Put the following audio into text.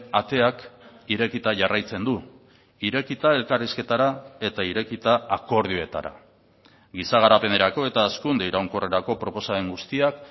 ateak irekita jarraitzen du irekita elkarrizketara eta irekita akordioetara giza garapenerako eta hazkunde iraunkorrerako proposamen guztiak